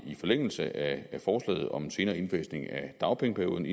forlængelse af forslaget om en senere indfasning af dagpengeperioden